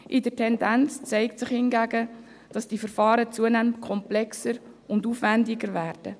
in der Tendenz zeigt sich hingegen, dass diese Verfahren zunehmend komplexer und aufwändiger werden.